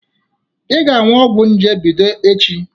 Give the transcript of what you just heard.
I ga-añụ ọgwọ nje bido echi.